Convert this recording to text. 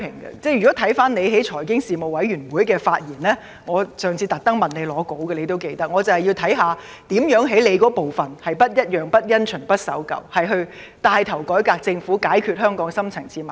局長應記得上次在財經事務委員會會議上，我特意向他索取他的會議發言稿，我便是要看看局長如何在其職責範圍內，做到"不一樣、不因循、不守舊"地牽頭改革政府，解決香港的深層次矛盾。